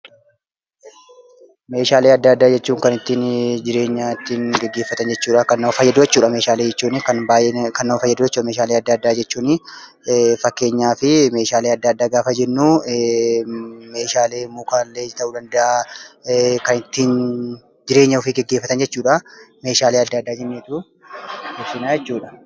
Meeshaalee adda addaa jechuun kan ittiin jireenya gaggeeffatan jechuudha. Meeshaalee adda addaa kunis faayidaa hedduu qabu. Akka fakkeenyaatti meeshaalee muka irraa hojjetaman kaasuu dandeenya.